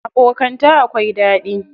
Abokanta akwai daɗi.